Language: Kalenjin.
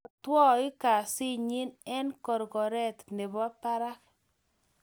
Pukomwotoi kesit nyi eng korkoret nebo parak